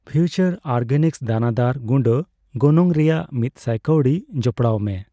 future organics ᱫᱟᱱᱟᱫᱟᱨ ᱜᱩᱰᱟᱹ ᱜᱚᱱᱚᱝ ᱨᱮᱭᱟᱜ ᱢᱤᱛ ᱥᱟᱭ ᱠᱟᱣᱰᱤ ᱡᱚᱯᱚᱲᱟᱣᱢᱮ